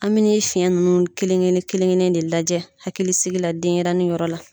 An bi nin fiɲɛ ninnu kelen kelen kelen kelen de lajɛ hakilisigi la denyɛrɛni yɔrɔ la